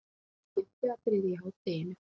Skemmtiatriði í hádeginu!